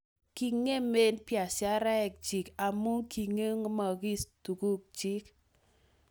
kingemee biasharesheck chi amu kingemokis tuguk chi